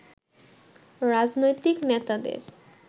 রাজনৈতিক নেতাদের